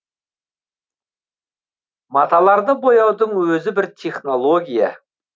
маталарды бояудың өзі бір технология